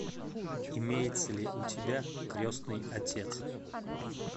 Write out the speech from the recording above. имеется ли у тебя крестный отец